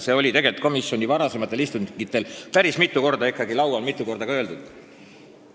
See oli tegelikult komisjoni varasematel istungitel päris mitu korda ikkagi laual, mitu korda sai seda mainitud ja öeldud ka siin saalis.